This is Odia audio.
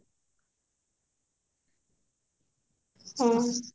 ହଁ